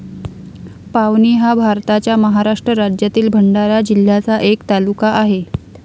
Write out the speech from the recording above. पावनी हा भारताच्या महाराष्ट्र राज्यातील भंडारा जिल्ह्याचा एक तालुका आहे.